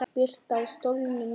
Birta: Á stólnum nýja?